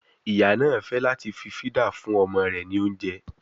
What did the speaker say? Ìyá náà fẹ́ láti fí fídà fún ọmọ rẹ ní oúnjẹ